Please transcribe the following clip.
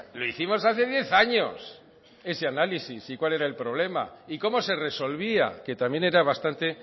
lo hicimos hace diez años ese análisis y cuál era el problema y cómo se resolvía que también era bastante